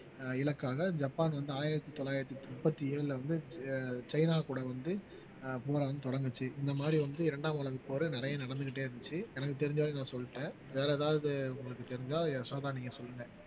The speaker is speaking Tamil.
இலக்காக ஜப்பான் வந்து ஆயிரத்தி தொள்ளாயிரத்தி முப்பத்தி ஏழுல வந்து சீனா கூட வந்து போராட்டம் தொடங்குச்சு இந்த மாதிரி வந்து இரண்டாம் உலகப் போரு நிறைய நடந்துக்கிட்டே இருந்துச்சு எனக்கு தெரிஞ்ச வரைக்கும் நான் சொல்லிட்டேன் வேற ஏதாவது உங்களுக்கு தெரிஞ்சா யசோதா நீங்க சொல்லுங்க